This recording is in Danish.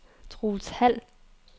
Troels Hald